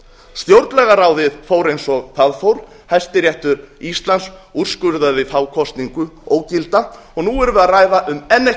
stjórnlagaráðið fór eins og það fór hæstiréttur íslands úrskurðaði þá kosningu ógilda og nú erum við að ræða um enn eitt